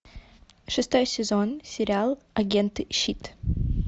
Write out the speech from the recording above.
шестой сезон сериал агенты щит